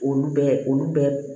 Olu bɛ olu bɛ